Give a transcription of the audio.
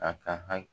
A ka ha